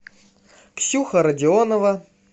ксюха родионова